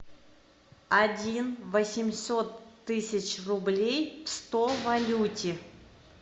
один восемьсот тысяч рублей в сто валюте